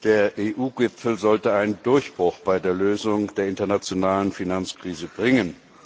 Der EU Gipfel sollte einen Durchbruch bei der Lösung der internationalen Finanzkrise bringen.